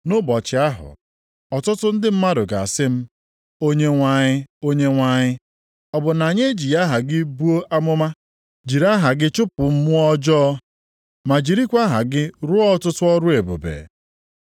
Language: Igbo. Nʼụbọchị ahụ, ọtụtụ ndị mmadụ ga-asị m, ‘Onyenwe anyị, Onyenwe anyị, ọ bụ na anyị ejighị aha gị buo amụma, jiri aha gị chụpụ mmụọ ọjọọ, ma jirikwa aha gị ruo ọtụtụ ọrụ ebube?’